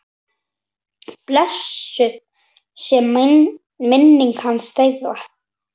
Blessuð sé minning hans, þeirra.